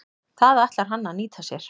Það ætlar hann að nýta sér.